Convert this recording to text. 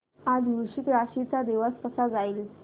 आज वृश्चिक राशी चा दिवस कसा जाईल